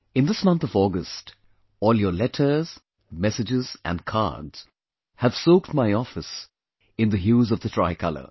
In this month of August, all your letters, messages and cards have soaked my office in the hues of the tricolor